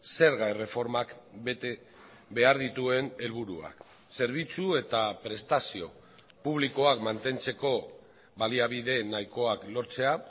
zerga erreformak bete behar dituen helburuak zerbitzu eta prestazio publikoak mantentzeko baliabide nahikoak lortzea